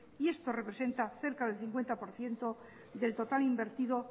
y esto representa cerca del cincuenta por ciento del total invertido